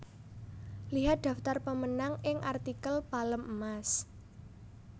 Lihat daftar pemenang ing artikel Palem Emas